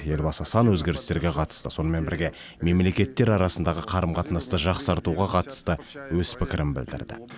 елбасы сан өзгерістерге қатысты сонымен бірге мемлекет арасындағы қарым қатынасты жақсартуға қатысты өз пікірін білдірді